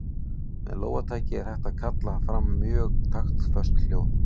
Með lófataki er hægt að kalla fram mjög taktföst hljóð.